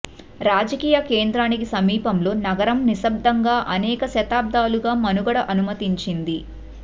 రాజకీయ కేంద్రానికి సమీపంలో నగరం నిశ్శబ్దంగా అనేక శతాబ్దాలుగా మనుగడ అనుమతించింది